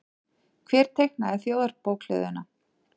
Hver teiknaði Þjóðarbókhlöðuna?